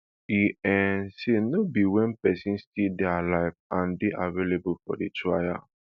e um say no be wen pesin still dey alive and dey available for trial